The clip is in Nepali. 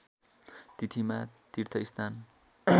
तिथिमा तीर्थस्नान